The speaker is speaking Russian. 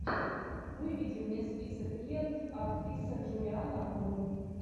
выведи мне список лент актриса джулианна мур